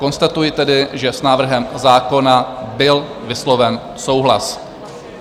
Konstatuji tedy, že s návrhem zákona byl vysloven souhlas.